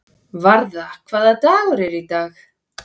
Varða, hvaða dagur er í dag?